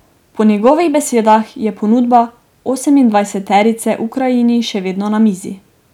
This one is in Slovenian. Po njegovih besedah je ponudba osemindvajseterice Ukrajini še vedno na mizi.